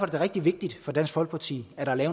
da rigtig vigtigt for dansk folkeparti at der er